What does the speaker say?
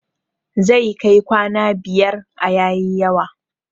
Zai kai kwana biyar a yayi yawa